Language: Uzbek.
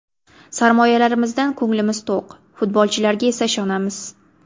Sarmoyalarimizdan ko‘nglimiz to‘q, futbolchilarga esa ishonamiz.